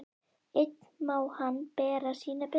Einn má hann bera sína byrði.